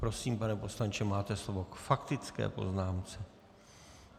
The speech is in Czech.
Prosím, pane poslanče, máte slovo k faktické poznámce.